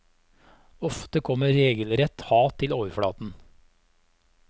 Ofte kommer regelrett hat til overflaten.